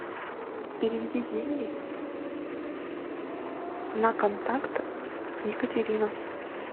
переведи деньги на контакт екатерина